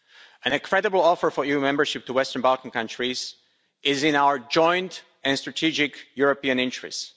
A credible offer for EU membership to Western Balkan countries is in our joint and strategic European interest.